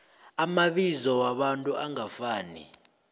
amabizo wabantu angafaniko